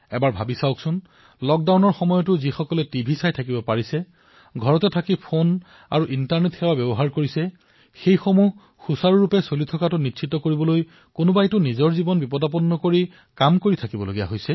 চিন্তা কৰক আপুনি এই লক্ডাউনৰ সময়ত টিভি চাই আছে ঘৰতে থাকি ফোন আৰু ইণ্টাৰনেট ব্যৱহাৰ কৰি আছে এইসমূহ সুচাৰুৰূপে চলাই ৰাখিবলৈ কোনোবা নহয় কোনোবাজনে নিজৰ জীৱনটো আগুৱাই দিছে